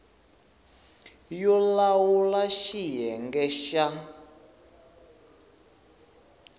yo lawula res xiyenge xa